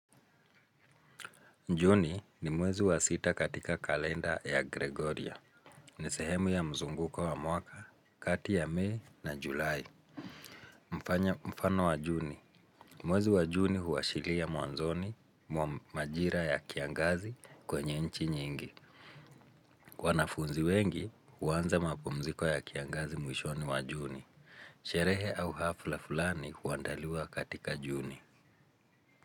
Juni ni mwezi wa sita katika kalenda ya Gregoria. Ni sehemu ya mzunguko wa mwaka kati ya mei na julai. Mfano wa juni mwezi wa juni huwashilia mwanzoni mwa majira ya kiangazi kwenye nchi nyingi wanafunzi wengi huanza mapumziko ya kiangazi mwishoni wa juni. Sherehe au hafla fulani huandaliwa katika juni.